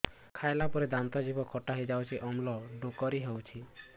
ଖାଇଲା ପରେ ଦାନ୍ତ ଜିଭ ଖଟା ହେଇଯାଉଛି ଅମ୍ଳ ଡ଼ୁକରି ହଉଛି